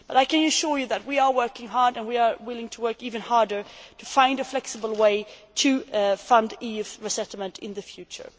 I can assure you that we are working hard and we are willing to work even harder to find a flexible way to fund EU resettlement in the future.